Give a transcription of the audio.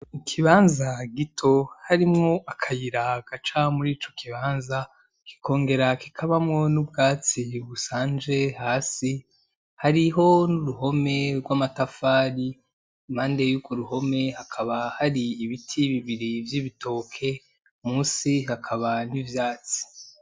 Ikibanza gito harimwo akayira gaca murico kibanza kikongera kikabamwo n'ubwatsi busanje hasi. Hariho n'uruhome rw'amatafari. Impande y'urwo ruhome hakaba hari ibiti bibiri vy'ibitoke, munsi hakaba hariho ivyatsi.